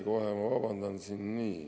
Kohe, vabandust.